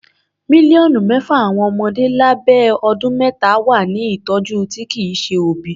Mílíọ̀nù mẹ́fà àwọn ọmọdé lábẹ́ ọdún mẹ́ta wà ní ìtọjú tí kìí ṣe òbí.